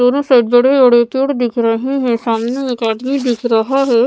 दोनों साइड बड़े बड़े पेड़ दिख रहे हैं सामने एक आदमी दिख रहा है।